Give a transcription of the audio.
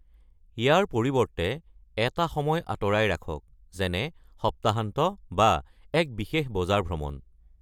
ইয়াৰ পৰিৱৰ্তে, এটা সময় আঁতৰাই ৰাখক, যেনে সপ্তাহান্ত বা এক বিশেষ বজাৰ ভ্ৰমণ।